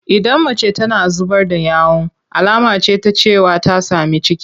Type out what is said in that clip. Idan mace tana zubar da yawu alama ce ta cewa ta sami ciki.